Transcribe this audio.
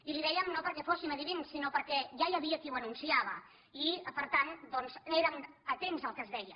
i li ho dèiem no perquè fóssim endevins sinó perquè ja hi havia qui ho anunciava i per tant doncs érem atents al que es deia